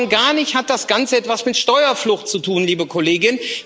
Und schon gar nicht hat das Ganze etwas mit Steuerflucht zu tun, liebe Kollegin.